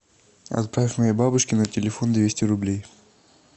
отправь моей бабушке на телефон двести рублей